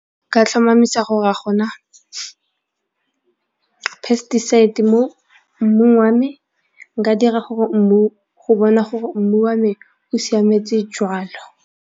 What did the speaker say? Nka tlhomamisa gore a gona pesticides mo mmung wa me, nka dira go bona gore mmu wa me o siametse jwalo.